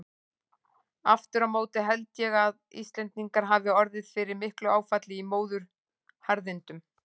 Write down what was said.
Aftur á móti held ég að Íslendingar hafi orðið fyrir miklu áfalli í móðuharðindunum.